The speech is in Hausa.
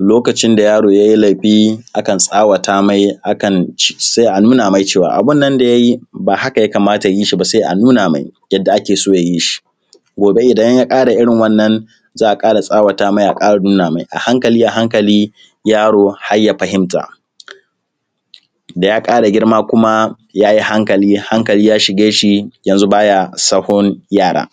Lokacin da yaro ye laifi akan tsawata mai akan ce, sai a nuna mai abin nan da ya yi ba haka ya kamata ya yi shi ba sai a nuna mai yadda ake so ya yi shi, gobe idan ya ƙara irin wannan za a ƙara tsawata mai a nuna mai, a hankali a hankali yaro har ya fahimta, daya kara girma kuma ya yi hankali, hankali ya shige shi yanzu baya sahun yara.